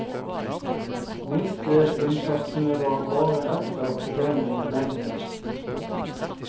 Minstelønnssatsene var bare ett av problemene i meglingsinnspurten.